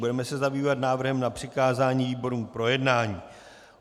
Budeme se zabývat návrhem na přikázání výborům k projednání.